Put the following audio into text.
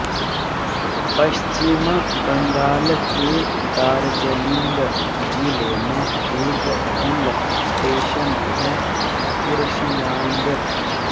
पश्चिम बंगाल के दार्जलिंग जिले में एक हिल स्टेशन है कुर्शियांग